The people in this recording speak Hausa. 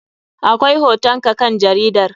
Akwai hoton ka kan jaridar.